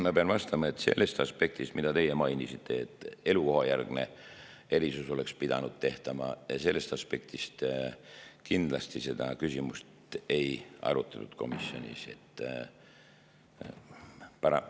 Ma pean vastama, et sellest aspektist, mida teie mainisite, et elukohajärgne erisus oleks pidanud tehtama, kindlasti seda küsimust komisjonis ei arutatud.